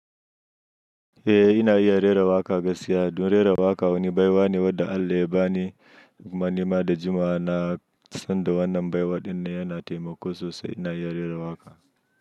Eh ina iya rera waƙa gaskiya. Dun rera waƙa wani baiwane wadda Allah ya bani. Kuma nima da jimawa na san da wannan baiwaɗin ne yana taimako sosai ina iya rera waƙa.